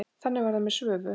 Þannig var það með Svövu.